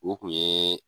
O kun ye